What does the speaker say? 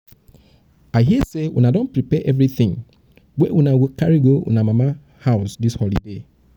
i hear say una don prepare everything wey una go carry una go carry go una grandma house dis holiday